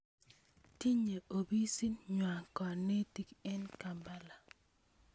Tinyei opisit ng'waa kanetik eng' Kampala